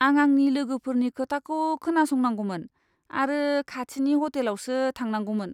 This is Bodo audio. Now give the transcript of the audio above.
आं आंनि लोगोफोरनि खोथाखौ खोनासंनांगौमोन आरो खाथिनि ह'टेलावसो थांनांगौमोन!